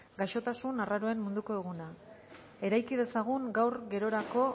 gaixotasun arraroen munduko eguna eraiki dezagun gaur gerorako